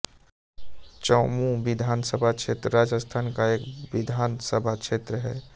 चौमूं विधानसभा क्षेत्र राजस्थान का एक विधानसभा क्षेत्र है